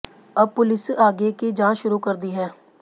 अब पुलिस आगे कि जांच शुरू कर दी है